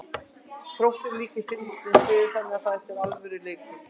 Þróttur er líka í fínni stöðu þannig að þetta er alvöru leikur.